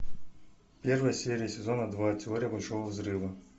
первая серия сезона два теория большого взрыва